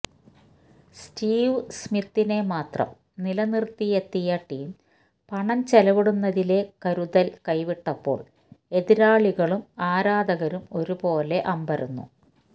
Steve സ്മിത്തിനെ മാത്രം നിലനിർത്തിയെത്തിയ ടീം പണം ചെലവിടുന്നതിലെ കരുതൽ കൈവിട്ടപ്പോൾ എതിരാളികളും ആരാധകരും ഒരുപോലെ അമ്പരന്നു